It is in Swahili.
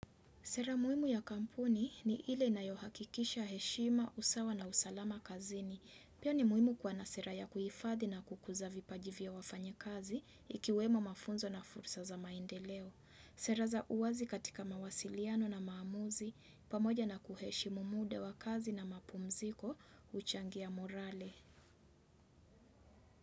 Sera muhimu ya kampuni ni ile inayohakikisha heshima, usawa na usalama kazini. Pia ni muhimu kuwa na sera ya kuhifadhi na kukuza vipajivi vya wafanyakazi ikiwemo mafunzo na fursa za maendeleo. Sera za uwazi katika mawasiliano na maamuzi, pamoja na kuheshimu muda wa kazi na mapumziko huchangia morale.